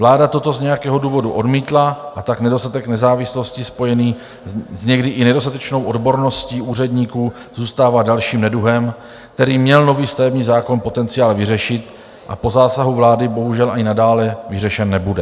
Vláda toto z nějakého důvodu odmítla, a tak nedostatek nezávislosti spojený s někdy i nedostatečnou odborností úředníků zůstává dalším neduhem, který měl nový stavební zákon potenciál vyřešit, a po zásahu vlády bohužel ani nadále vyřešen nebude.